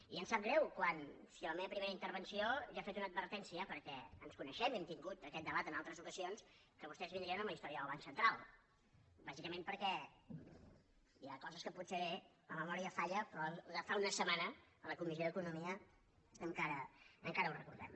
i em sap greu si a la meva primera intervenció ja he fet una advertència perquè ens coneixem i hem tingut aquest debat en altres ocasions que vostès vindrien amb la història del banc central bàsicament perquè hi ha coses en què potser la memòria falla però de fa una setmana a la comissió d’economia encara ho recordem